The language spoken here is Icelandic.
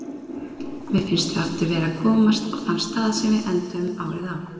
Mér finnst við aftur vera að komast á þann stað sem við enduðum árið á.